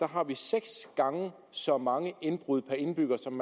har vi seks gange så mange indbrud per indbygger som